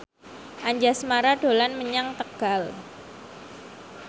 Anjasmara dolan menyang Tegal